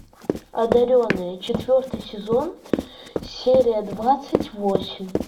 одаренные четвертый сезон серия двадцать восемь